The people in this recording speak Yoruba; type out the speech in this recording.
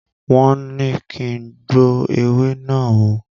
Wọ́n ní kí n gbo ewé náà mu.